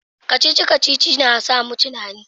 kacici-kacici na sa mu tunani